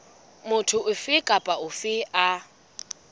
motho ofe kapa ofe a